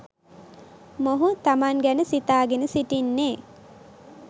මොහු තමන් ගැන සිතාගෙන සිටින්නේ